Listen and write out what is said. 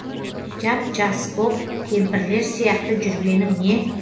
жап жас боп кемпірлер сияқты жүргенің не